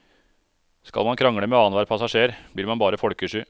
Skal man krangle med annen hver passasjer, blir man bare folkesky.